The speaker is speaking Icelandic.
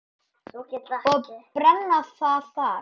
Og brenna þar.